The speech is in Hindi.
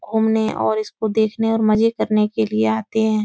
घूमने और इसको देखने और मज़े करने के लिए आते हैं।